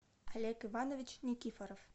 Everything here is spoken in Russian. олег иванович никифоров